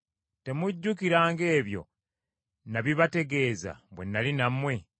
Temujjukira ng’ebyo nabibategeeza bwe nnali nammwe?